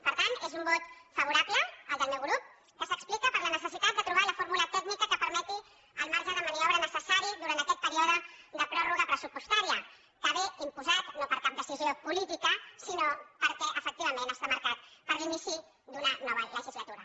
per tant és un vot favorable el del meu grup que s’explica per la necessitat de trobar la fórmula tècnica que permeti el marge de maniobra necessari durant aquest període de pròrroga pressupostària que ve imposat no per cap decisió política sinó perquè efectivament està marcat per l’inici d’una nova legislatura